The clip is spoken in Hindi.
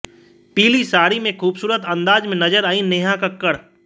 पीली साड़ी में खूबसूरत अंदाज में नजर आईं नेहा कक्कड़